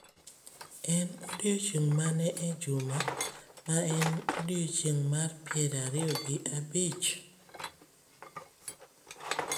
En odiechieng’ mane e juma ma en odiechieng’ mar piero ariyo gi abich?